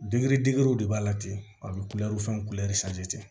Dege degero de b'a la ten a bɛ kulɛri fɛn kulɛri